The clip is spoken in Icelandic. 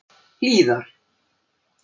Hlíðar